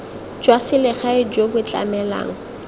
jwa selegae jo bo tlamelang